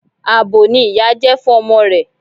Abo ni ìyá jẹ́ fún ọmọ rẹ̀.